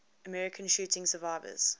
american shooting survivors